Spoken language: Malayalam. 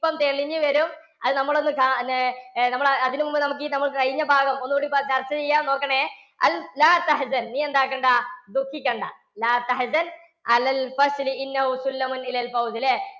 ഇപ്പോൾ തെളിഞ്ഞു വരും. അത് നമ്മളൊന്ന് കാ~പിന്നെ അതിനു മുമ്പ് നമുക്ക് ഈ കഴിഞ്ഞ പാഠം ഒന്നുകൂടി ചർച്ചചെയ്യാൻ നോക്കണേ നീയെന്താക്കണ്ടാ? ദുഃഖിക്കേണ്ട. ഇല്ലേ